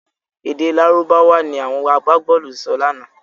Èdè Lárúbáwá ni àwọn agbábọ̀ọ̀lù sọ lánàá.